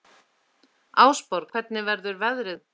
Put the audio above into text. Ásborg, hvernig verður veðrið á morgun?